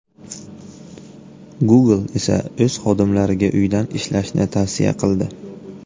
Google esa o‘z xodimlariga uydan ishlashni tavsiya qildi.